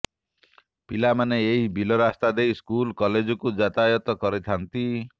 ପିଲାମାନେ ଏହି ବିଲରାସ୍ତା ଦେଇ ସ୍କୁଲ କଲେଜକୁ ଯାତାୟାତ କରିଥାନ୍ତି